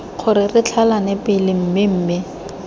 gore re tlhalane pele mmemme